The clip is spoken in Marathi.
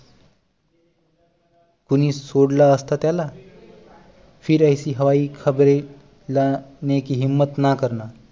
कूणी सोडल असत त्याला फिर ऐसी हवाई ख़बरें लाने की हिम्मत ना करना